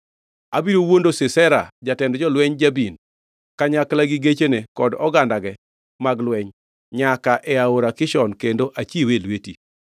Abiro wuondo Sisera, jatend jolwenj Jabin, kanyakla gi gechene kod ogandage mag lweny nyaka e Aora Kishon kendo achiwe e lweti.’ ”